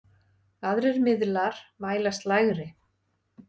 Aðrir miðlar mælast lægri.